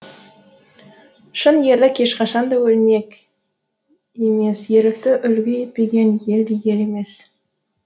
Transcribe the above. шын ерлік ешқашан да өлмек емес ерлікті үлгі етпеген ел де ел емес